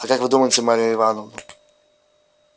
а как вы думаете марья ивановна